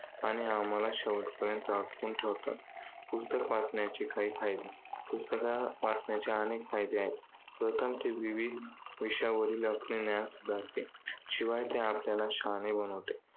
आणि आम्हाला शेवटपर्यंत अडकवून ठेवतात. पुस्तक वाचण्याचे काही फायदे. पुस्तकं वाचण्याचे अनेक फायदे आहेत. प्रथम ते विविध विषयांवरील आपले ज्ञान सुधारते. शिवाय ते आपल्याला शहाणे बनवतात.